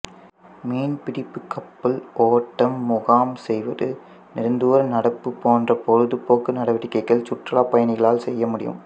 மீன்பிடிப்பு கப்பல் ஓட்டம் முகாம் செய்வது நெடுந்துர நடப்பு போன்ற பொழுது போக்கு நடவடிக்கைகள் சுற்றுலா பயணிகளால் செய்யமுடியும்